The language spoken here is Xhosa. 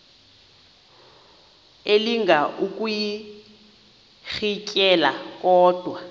elinga ukuyirintyela kodwa